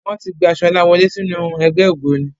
Wọ́n ti gba Ṣọlá wọlé sínú ẹgbẹ́ ògbóni.